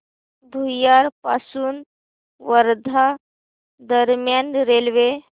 भुयार पासून वर्धा दरम्यान रेल्वे